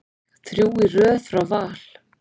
Þrjú í röð frá Val.